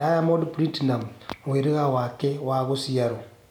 Diamond platinumz mũhĩriga wake wa gũcĩarwo